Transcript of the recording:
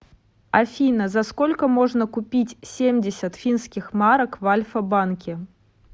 афина за сколько можно купить семьдесят финских марок в альфа банке